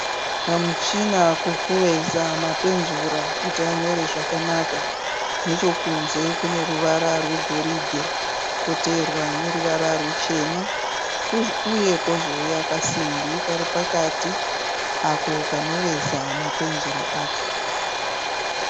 Kamuchina kokuveza mapenzura kuti anyore zvakanaka. Nechokunze kune ruvara rwegoridhe koteverwa neruvara ruchena uye kozouya kasimbi kari pakati kanoveza mapenzura acho.